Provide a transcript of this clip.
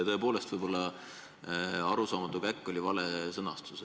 Tõepoolest, võib-olla "arusaamatu käkk" oli vale sõnastus.